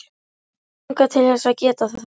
Mig langar til þess að geta það.